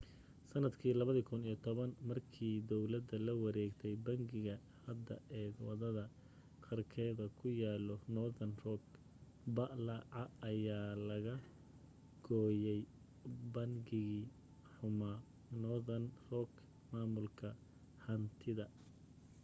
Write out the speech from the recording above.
sanadkii 2010 markii dawladda la wareegtay bangiga hadda ee wadada qarkeeda ku yaalo northern rock plc ayaa laga gooyay ‘bangigii xumaa’ northern rock maamulka hantida